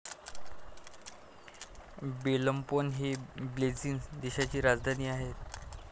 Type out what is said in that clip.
Belmopan हि Belize देशाची राजधानी आहे.